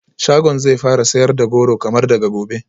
Shagon zai fara sayar da goro kamar daga gobe